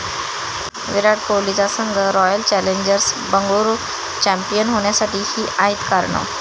विराट कोहलीचा संघ royal challengers Bengaluru champion होण्यासाठी 'ही' आहेत कारणं